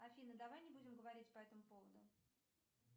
афина давай не будем говорить по этому поводу